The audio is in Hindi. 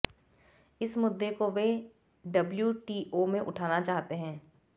इस मुद्दे को वे डब्ल्यूटीओ में उठाना चाहते हैं